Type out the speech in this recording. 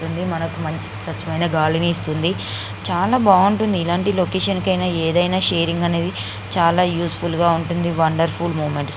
ఇది మనకి మంచి స్వచ్ఛమైన గాలిని ఇస్స్తుంది చాల బాగుంటుంది ఇలాంటిన్ లొకేషన్ కి ఆయన షరింగ చాల ఉసేఫుల్ గ ఉంటది వండర్ఫుల్ మూమెంట్స్ .